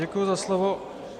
Děkuji za slovo.